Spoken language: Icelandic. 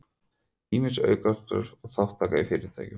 Ýmis aukastörf og þátttaka í fyrirtækjum